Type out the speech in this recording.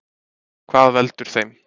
Hvað veldur þeim?